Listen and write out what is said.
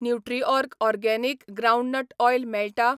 Nutriorg organic groundnut oil मेळटा ?